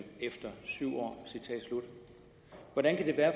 efter syv år hvordan kan det være